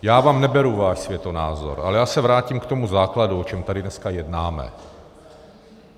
Já vám neberu váš světonázor, ale já se vrátím k tomu základu, o čem tady dneska jednáme.